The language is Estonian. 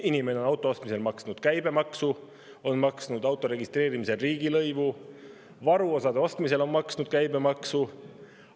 Inimene on auto ostmisel maksnud käibemaksu, on maksnud auto registreerimisel riigilõivu, varuosade ostmisel on maksnud käibemaksu.